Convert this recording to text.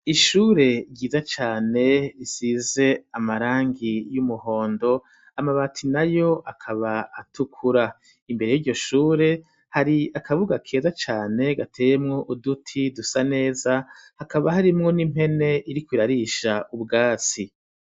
Ishure ryiza cane risize amarangi y'umuhondo amabati nayo akaba atukura, imbere yiryo shure hari akabuga keza cane gateyemwo uduti dusa neza hakaba harimwo n'impene iriko irarisha ubwatsi.